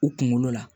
U kunkolo la